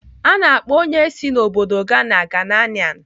A na-akpọ onye si n'obodo Ghana "Ghanaian."